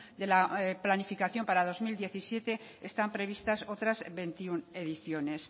de la planificación para dos mil diecisiete están previstas otras veintiuno ediciones